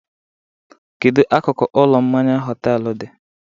Kedu akụkụ ụlọ mmanya họtelu dị?